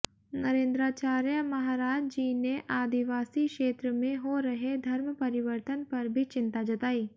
नरेंद्राचार्य महाराज जी ने आदिवासी क्षेत्र में हो रहे धर्मपरिवर्तन पर भी चिंता जताई